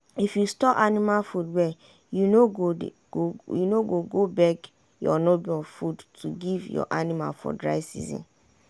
if you store anima food well you no go beg your neighbour food to give your anima for dry season.